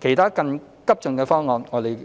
其他更急進的方案，我們